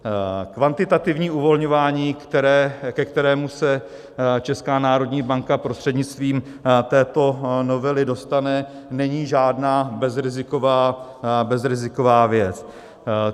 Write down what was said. Kvantitativní uvolňování, ke kterému se Česká národní banka prostřednictvím této novely dostane, není žádná bezriziková věc.